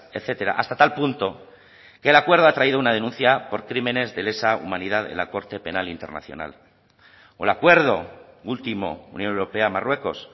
etcétera hasta tal punto que el acuerdo ha traído una denuncia por crímenes de lesa humanidad en la corte penal internacional o el acuerdo último unión europea marruecos